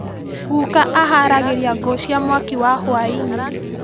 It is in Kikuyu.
Guka aharagĩria ngũ cia mwaki wa hwainĩ.